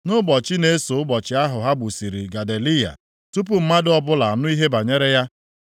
Nʼụbọchị na-eso ụbọchị ahụ ha gbusịrị Gedaliya, tupu mmadụ ọbụla anụ ihe banyere ya,